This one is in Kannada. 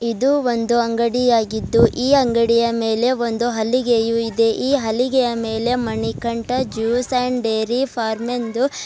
ಇದು ಒಂದು ಅಂಗಡಿಯಾಗಿದ್ದು ಈ ಅಂಗಡಿಯ ಮೇಲೆ ಒಂದು ಹಲಿಗೆಯು ಇದೆ ಈ ಹಲಿಗೆಯ ಮೇಲೆ Manikanta juice and dairy farm ಎಂದು--